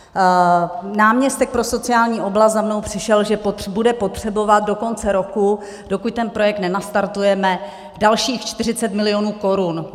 Náměstek pro sociální oblast za mnou přišel, že bude potřebovat do konce roku, dokud ten projekt nenastartujeme, dalších 40 milionů korun.